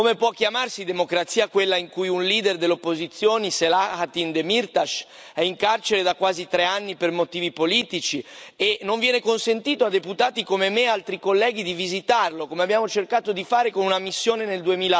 Come può chiamarsi democrazia quella in cui un leader delle opposizioni, Selahattin Demirtaş, è in carcere da quasi tre anni per motivi politici e non viene consentito a deputati come me e altri colleghi di visitarlo, come abbiamo cercato di fare con una missione nel